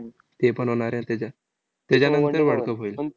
तेपण होणार आहे त्याच्यात. त्याच्यानंतर world cup होईल.